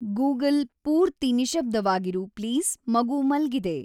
Google ಪೂರ್ತಿ ನಿಶ್ಶಬ್ದವಾಗಿರು please ಮಗು ಮಲ್ಗಿದೆ